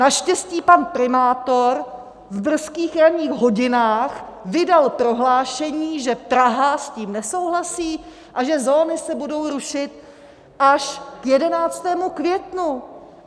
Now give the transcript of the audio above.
Naštěstí pan primátor v brzkých ranních hodinách vydal prohlášení, že Praha s tím nesouhlasí a že zóny se budou rušit až k 11. květnu.